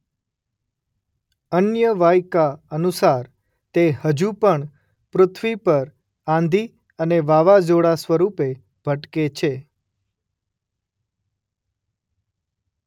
અન્ય વાયકા અનુસાર તે હજું પણ પૃથ્વી પર આંધી અને વાવાઝોડાં સ્વરૂપે ભટકે છે.